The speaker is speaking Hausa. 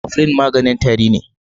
Cofflin maganin tari ne.